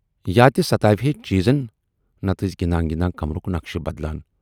یا تہِ ستاوِہے چیٖزن، نتہٕ ٲسۍ گِندان گِندان کمرُک نقشہٕ بدلان۔